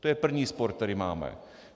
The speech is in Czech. To je první spor, který máme.